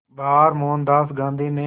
बार मोहनदास गांधी ने